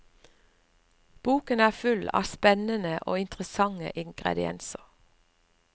Boken er full av spennende og interessante ingredienser.